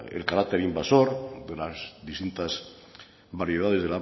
el carácter invasor de las distintas variedades